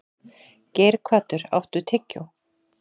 Geirhvatur, áttu tyggjó?